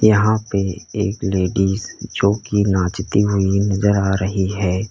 यहां पे एक लेडीज जो की नाचती हुई नजर आ रही है।